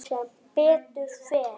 Sem betur fer?